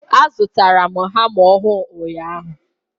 A zụtara m hama ọhụụ ụnyaahụ.